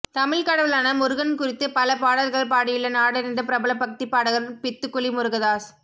தமிழ்க் கடவுளான முருகன் குறித்து பல பாடல்கள் பாடியுள்ள நாடறிந்த பிரபல பக்திப்பாடகர் பித்துக்குளி முருகதாஸ்